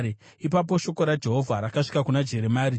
Ipapo shoko raJehovha rakasvika kuna Jeremia, richiti,